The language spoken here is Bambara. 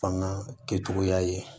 Fanga kɛcogoya ye